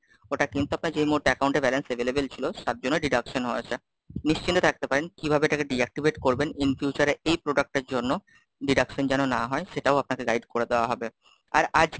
ওটা কিন্তু আপনার যেই মুহূর্তে Account এ balance available ছিল, তার জন্নে deduction হয়েছে, নিশ্চিন্তে থাকতে পারেন, কিভাবে এটাকে Deactivate করবেন? In future এ এই product এর জন্য, deduction যেন না হয়, সেটাও আপনাকে Guide করে দেওয়া হবে। আর আজ কে,